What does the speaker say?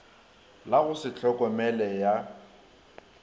la go se tlhokomele ya